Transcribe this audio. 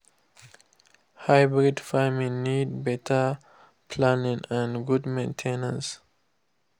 hybrid farming need better planning and good main ten ance.